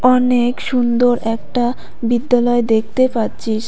অনেক সুন্দর একটা বিদ্যালয়ে দেখতে পাচ্ছিস।